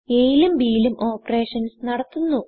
a ലും bലും operations നടത്തുന്നു